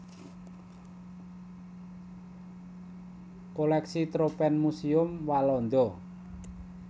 Kolèksi Tropenmuseum Walanda